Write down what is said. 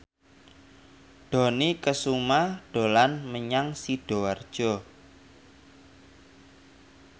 Dony Kesuma dolan menyang Sidoarjo